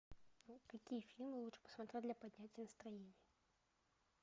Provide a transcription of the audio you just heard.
какие фильмы лучше посмотреть для поднятия настроения